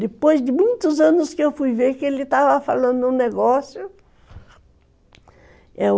Depois de muitos anos que eu fui ver que ele estava falando um negócio.